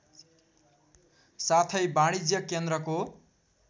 साथै वाणिज्य केन्द्रको